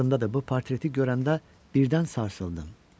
Yadımdadır, bu portreti görəndə birdən sarsıldım.